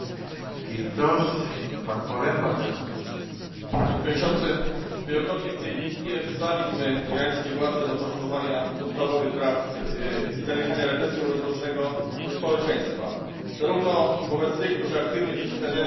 Wielokrotnie w tej Izbie wzywaliśmy irańskie władze do poszanowania podstawowych praw człowieka i zaniechania represji wobec własnego społeczeństwa zarówno wobec tych, którzy aktywnie przeciwstawiają się reżimowi, jak i obrońców praw człowieka, prawników, dziennikarzy czy